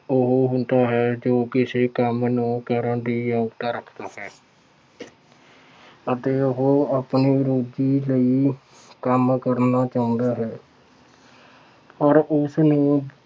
ਉਹ ਹੁੰਦਾ ਹੈ ਜੋ ਕਿਸੇ ਕੰਮ ਨੂੰ ਕਰਨ ਦੀ ਅਹੁਦ ਰੱਖਦਾ ਹੈ। ਅਤੇ ਉਹ ਆਪਣੀ ਰੋਟੀ ਲਈ ਕੰਮ ਕਰਨਾ ਚਾਹੁੰਦਾ ਹੈ। ਪਰ ਉਸਨੂੰ